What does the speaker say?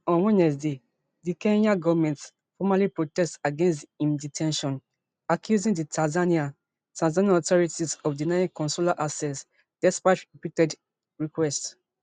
on wednesday di kenyan goment formally protest against im de ten tion accusing di tanzanian tanzanian authorities of denying consular access despite repeated requests